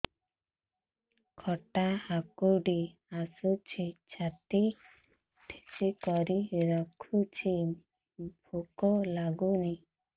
ଖଟା ହାକୁଟି ଆସୁଛି ଛାତି ଠେସିକରି ରଖୁଛି ଭୁକ ଲାଗୁନି